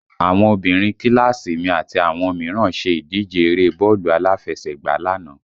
Àwọn obìnrin kíláàsì mi àti àwọn mìíràn ṣe ìdíje eré bọ́ọ̀lù aláfẹsẹ̀gbá lánàá